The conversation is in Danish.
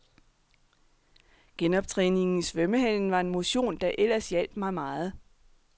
Genoptræningen i svømmehallen var en motion der ellers hjalp mig meget.